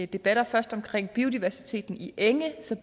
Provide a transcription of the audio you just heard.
debatter først omkring biodiversiteten i enge så